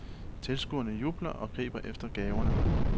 Tilskuerne jubler og griber efter gaverne.